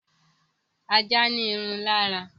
Ajá ní irun lára